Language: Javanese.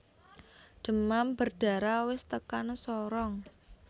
Demam berdarah wis tekan Sorong